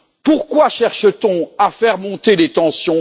Pourquoi cherche t on à faire monter les tensions?